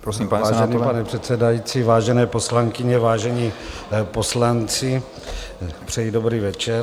Vážený pane předsedající, vážené poslankyně, vážení poslanci, přeji dobrý večer.